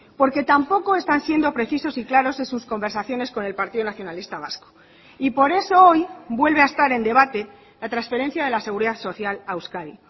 porque tampoco están siendo precisos y claros en sus conversaciones con el partido nacionalista vasco y por eso hoy vuelve a estar en debate la transferencia de la seguridad social a euskadi